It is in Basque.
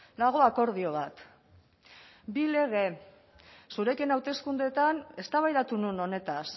dago akordio bat bi lege zurekin hauteskundeetan eztabaidatu nuen honetaz